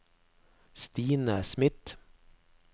Stine Smith